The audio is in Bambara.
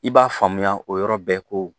I b'a faamuya o yɔrɔ bɛɛ ko